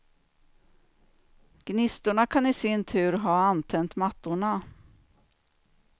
Gnistorna kan i sin tur ha antänt mattorna.